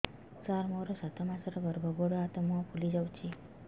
ସାର ମୋର ସାତ ମାସର ଗର୍ଭ ଗୋଡ଼ ହାତ ମୁହଁ ଫୁଲି ଯାଉଛି